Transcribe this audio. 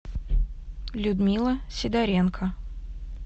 людмила сидоренко